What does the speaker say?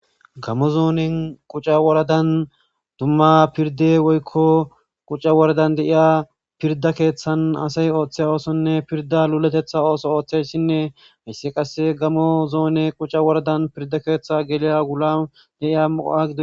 gamo zoonen quca woradan dumma pirde woykko quca woradan de'iya pirda keeththan asay ooththe oosonne pirda luletetha ooso ooththeyssinne hissi qasse gamo zoone quca woradan pirda keeththa geliya gula deiya mu7a gido